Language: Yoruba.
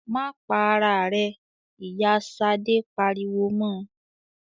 "Má pa ara rẹ!" Ìyá Ṣadé pariwo mọ.